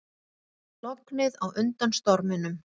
Lognið á undan storminum